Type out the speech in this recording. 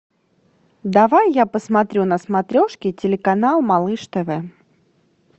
давай я посмотрю на смотрешке телеканал малыш тв